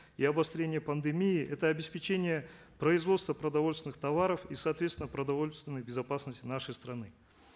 и обострения пандемии это обеспечение производства продовольственных товаров и соответственно продовольственной безопасности нашей страны